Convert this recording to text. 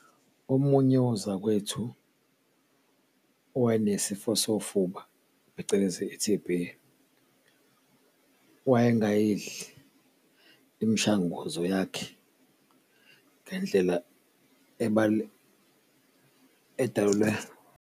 Omunye wozakwethu owayenesifo sofuba, phecelezi i-T_B wayengayengayidli imshanguzo yakhe ngendlela edalelwe.